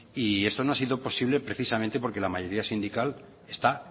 y eso no ha sido posible precisamente porque la mayoría sindical está